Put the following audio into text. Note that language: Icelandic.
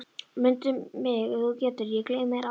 Mundu mig ef þú getur, ég gleymi þér aldrei